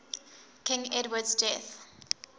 king edward's death